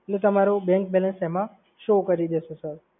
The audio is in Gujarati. એટલે તમારુ bank balance એમા show કરી દેશે સર.